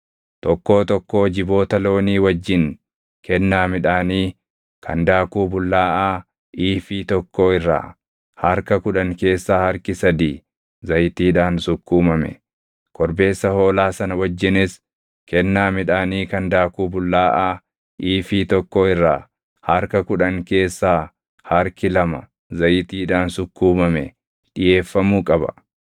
Tokkoo tokkoo jiboota loonii wajjin kennaa midhaanii kan daakuu bullaaʼaa iifii tokkoo irraa harka kudhan keessaa harki sadii zayitiidhaan sukkuumame, korbeessa hoolaa sana wajjinis kennaa midhaanii kan daakuu bullaaʼaa iifii tokkoo irraa harka kudhan keessaa harki lama zayitiidhaan sukkuumame dhiʼeeffamuu qaba;